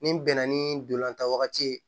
Ni bɛnna ni dolantan wagati ye